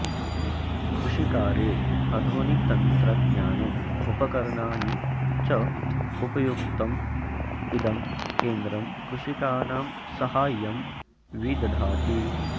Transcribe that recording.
कृषिकार्ये आधुनिकतन्त्रज्ञानम् उपकरणानि च उपयोक्तुम् इदं केन्द्रं कृषिकाणां साहाय्यं विदधाति